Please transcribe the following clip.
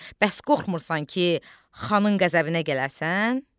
Bəs qorxmursan ki, xanın qəzəbinə gələrsən?